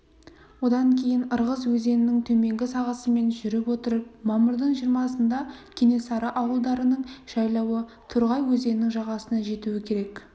одан кейін ырғыз өзенінің төменгі сағасымен жүріп отырып мамырдың жиырмасында кенесары ауылдарының жайлауы торғай өзенінің жағасына жетуі керек